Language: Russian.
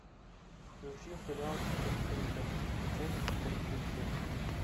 включи сериал быть эрикой часть тридцать семь